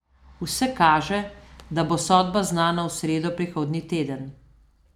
Vse kaže, da bo sodba znana v sredo prihodnji teden.